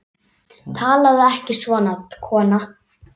Talaðu ekki svona, kona!